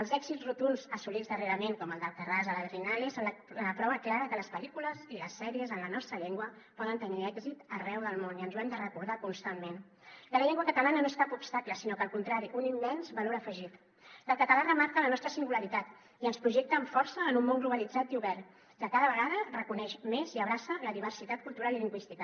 els èxits rotunds assolits darrerament com el d’prova clara que les pel·lícules i les sèries en la nostra llengua poden tenir èxit arreu del món i ens ho hem de recordar constantment que la llengua catalana no és cap obstacle sinó al contrari un immens valor afegit que el català remarca la nostra singularitat i ens projecta amb força en un món globalitzat i obert que cada vegada reconeix més i abraça la diversitat cultural i lingüística